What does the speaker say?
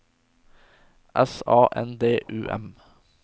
S A N D U M